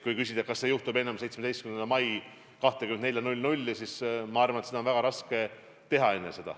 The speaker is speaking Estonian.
Kui küsida, kas see juhtub enne 17. mai kella 24.00, siis ma arvan, et seda oleks väga raske teha.